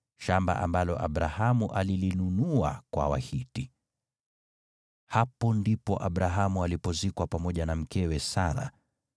Shamba ambalo Abrahamu alilinunua kwa Wahiti. Hapo ndipo Abrahamu alipozikwa pamoja na mkewe Sara.